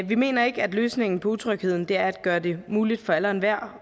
vi mener ikke at løsningen på utrygheden er at gøre det muligt for alle og enhver